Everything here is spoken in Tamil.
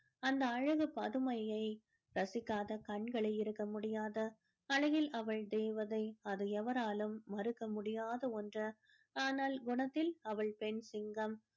அந்த அழகு பதுமையை ரசிக்காத கண்களே இருக்க முடியாது. அழகில் அவள் தேவதை அது எவராலும் மறுக்க முடியாத ஒன்று ஆனால் குணத்தில அவள் பெண் சிங்கம்.